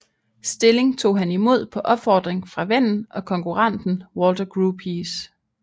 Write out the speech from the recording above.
Stilling tog han imod på opfordring fra vennen og konkurrenten Walter Gropius